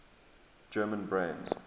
german brands